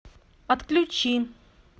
отключи